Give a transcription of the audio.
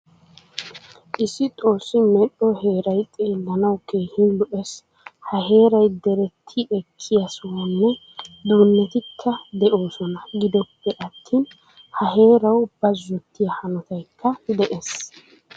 Issi xoossi medhdho heeray xeelanawu keehin lo'ees. Ha heeray deretti ekkiyaa sohuwaanne duunettikka de'oosona. Giddoppe attin ha heerawu bazzottiyo hanottaykka de'ees.